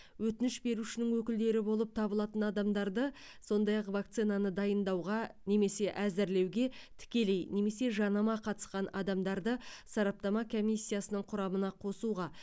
өтініш берушінің өкілдері болып табылатын адамдарды сондай ақ вакцинаны дайындауға немесе әзірлеуге тікелей немесе жанама қатысқан адамдарды сараптама комиссиясының құрамына қосуға